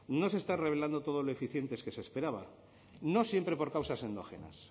no se está revelando todo lo eficiente que se esperaba no siempre por causas endógenas